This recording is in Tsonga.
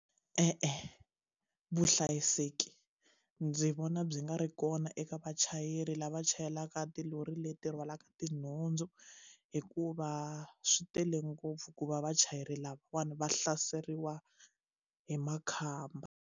E-e vuhlayiseki ndzi vona byi nga ri kona eka vachayeri lava chayelaka tilori leti rhwalaka tinhundzu hikuva swi tele ngopfu ku va vachayeri lavawani va hlaseriwa hi makhamba.